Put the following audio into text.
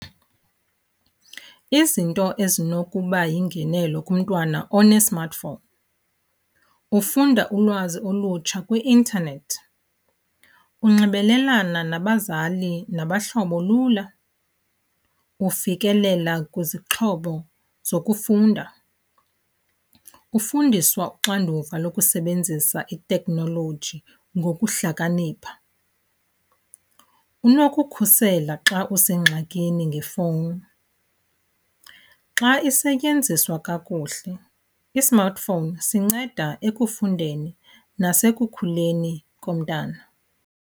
Izinto ezinokuba yingenelo kumntwana one-smartphone ufunda ulwazi olutsha kwi-intanethi, unxibelelana nabazali nabahlobo lula, ufikelela kwizixhobo zokufunda, ufundiswa uxanduva lokusebenzisa itekhnoloji ngokuhlakanipha, unokukhusela xa usengxakini ngefowuni. Xa isetyenziswa kakuhle i-smartphone sinceda ekufundeni nasekukhuleni komntana.